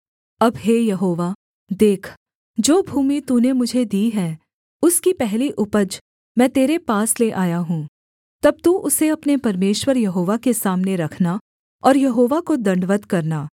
अब हे यहोवा देख जो भूमि तूने मुझे दी है उसकी पहली उपज मैं तेरे पास ले आया हूँ तब तू उसे अपने परमेश्वर यहोवा के सामने रखना और यहोवा को दण्डवत् करना